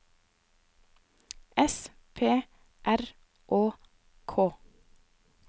S P R Å K